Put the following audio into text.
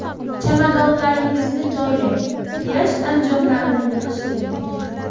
Chamadonlaringizni joylang, plyaj anjomlarini yig‘ishtiring.